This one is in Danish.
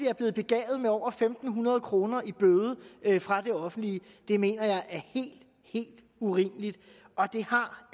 er blevet begavet med over fem hundrede kroner i bøde fra det offentlige mener jeg er helt helt urimeligt og det har